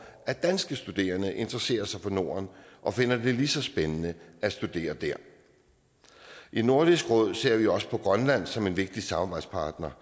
at danske studerende interesserer sig for norden og finder det lige så spændende at studere der i nordisk råd ser vi også på grønland som en vigtig samarbejdspartner